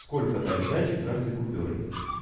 сколько дать сдачи каждый купюрой